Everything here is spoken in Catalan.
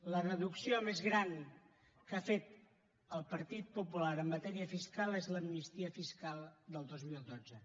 la deducció més gran que ha fet el partit popular en matèria fiscal és l’amnistia fiscal del dos mil dotze